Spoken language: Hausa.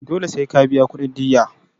Dole sai ka biya kudin diyya.